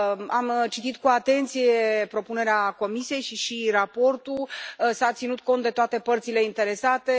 Am citit cu atenție propunerea Comisiei și raportul. S a ținut cont de toate părțile interesate.